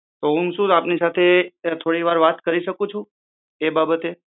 તો હું શું આપની સાથે થોડી વાર વાત કરી શકું છું તે બાબતે